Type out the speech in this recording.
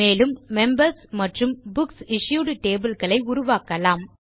மேலும் உறுப்பினர்கள் மற்றும் புக்சிஷ்யூட் டேபிள் களை உருவாக்கலாம்